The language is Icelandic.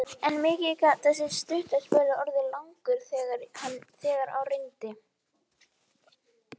Hann brosir skakkt, kyngir óróanum og hrukkar útitekið ennið meðan hann skannar sjúklinginn.